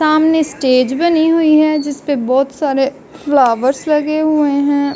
सामने स्टेज बनी हुई है जिसपे बोहोत सारे फ्लावर्स लगे हुए हैं।